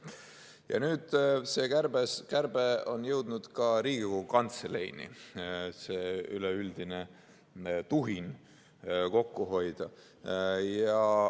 Ja nüüd see kärbe on jõudnud ka Riigikogu Kantseleini – see üleüldine tuhin kokku hoida.